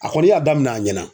A kɔni y'a daminɛ a ɲɛna